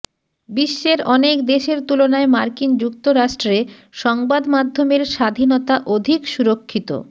বিশ্বের অনেক দেশের তুলনায় মার্কিন যুক্তরাষ্ট্রে সংবাদমাধ্যমের স্বাধীনতা অধিক সুরক্ষিত